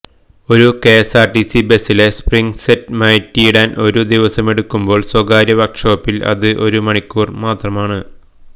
ഒരു കെഎസ്ആർടിസി ബസിലെ spring set മാറ്റിയിടാൻ ഒരു ദിവസമെടുക്കുമ്പോൾ സ്വകാര്യ വർക്കുഷോപ്പിൽ അത് ഒരു മണിക്കൂർ മാത്രമാണ്